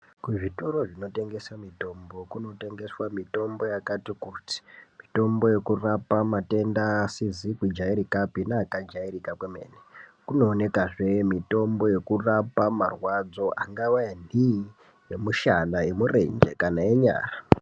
Kuzvitoro zvinotengese mitombo kunotengeswe mitombo yakati kuti mitombo yekurapa matenda asizi kujairikapi neakajairika kwemene kunooneka zve mitombo yekurapa marwadzo angava enhii emushana emurenje kana enyara.